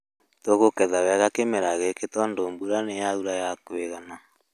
Tũkũgetha wega kĩmera gĩkĩ tondũ mbura nĩ yaura ya kũigana